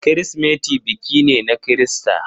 Kirsimeti biki ne na Kirista.